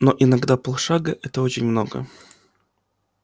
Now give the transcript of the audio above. но иногда пол шага это очень много